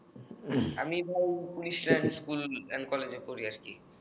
আমি ভাই police line school and কলেজে পড়ি আর কি